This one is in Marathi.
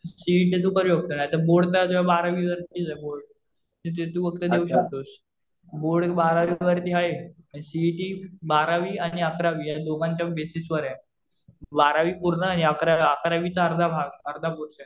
सीइटी तू करू शकतो. नाहीतर बोर्ड तर बारावीला असतं बोर्ड. जे तू देऊ शकतोस. बोर्ड बारावी वरती आहे. सीइटी बारावी आणि अकरावी या दोघांच्या बेसिस वर आहे. बारावी पूर्ण आणि अकरावीच्या अर्धा भाग, अर्धा पोर्शन.